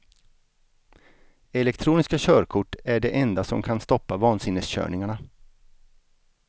Elektroniska körkort är det enda som kan stoppa vansinneskörningarna.